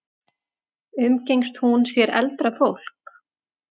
Umgengst hún sér eldra fólk?